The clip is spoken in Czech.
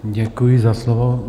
Děkuji za slovo.